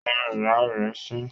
Ó rín ìyá rẹ̀ fín